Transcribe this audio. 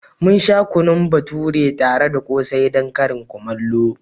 Mun sha kunun bature tare da ƙsai don karin kumallo.